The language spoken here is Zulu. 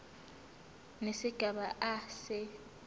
nesigaba a se